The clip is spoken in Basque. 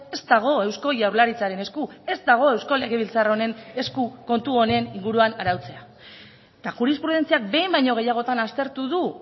ez dago eusko jaurlaritzaren esku ez dago eusko legebiltzar honen esku kontu honen inguruan arautzea eta jurisprudentziak behin baino gehiagotan aztertu du